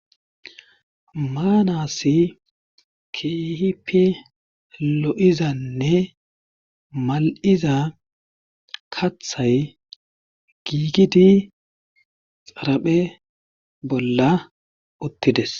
maanassi keehipe lo7izanne mal7iza kathay giigidi xaraphe bolla uttides